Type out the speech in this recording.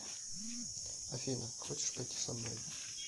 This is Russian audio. афина хочешь пойти со мной